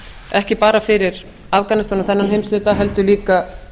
ekki bara fyrir afganistan og þennan heimshluta heldur líka